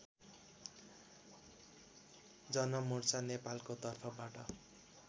जनमोर्चा नेपालको तर्फबाट